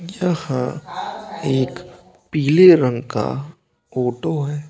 यहाँ एक पीले रंग का फोटो है।